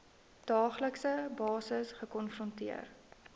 daaglikse basis gekonfronteer